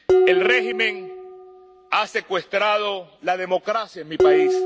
El régimen ha secuestrado la democracia en mi país.